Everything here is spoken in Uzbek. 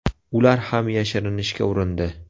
Ular ham yashirinishga urindi.